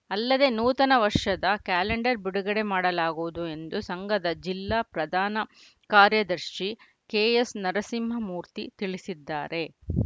ಅಲ್ಲದೇ ನೂತನ ವರ್ಷದ ಕ್ಯಾಲೆಂಡರ್‌ ಬಿಡುಗಡೆ ಮಾಡಲಾಗುವುದು ಎಂದು ಸಂಘದ ಜಿಲ್ಲಾ ಪ್ರಧಾನ ಕಾರ್ಯದರ್ಶಿ ಕೆಎಸ್‌ನರಸಿಂಹಮೂರ್ತಿ ತಿಳಿಸಿದ್ದಾರೆ